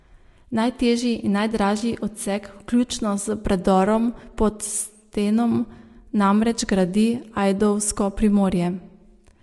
Najtežji in najdražji odsek vključno s predorom pod Stenom namreč gradi ajdovsko Primorje.